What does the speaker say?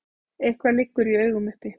Eitthvað liggur í augum uppi